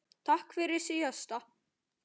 Takk fyrir síðast?